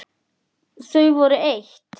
Þau voru eitt.